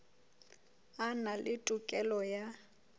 a na le tokelo ya